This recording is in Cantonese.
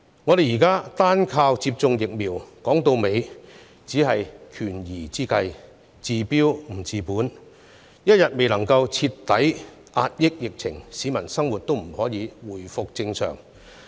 我們現在單靠接種疫苗，說到底只是權宜之計，治標不治本，一天未能徹底遏止疫情，市民的生活便無法回復正常。